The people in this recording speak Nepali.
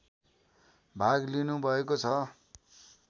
भाग लिनुभएको छ